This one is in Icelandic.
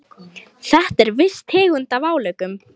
Þetta er viss tegund af álögum.